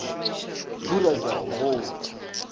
phura ke a go botša